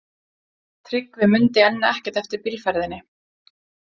Tryggvi mundi enn ekkert eftir bílferðinni.